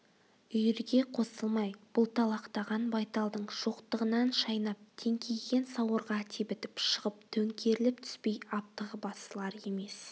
үйірге қосылмай бұлталақтаған байталдың шоқтығынан шайнап теңкиген сауырға тебітіп шығып төңкеріліп түспей аптығы басылар емес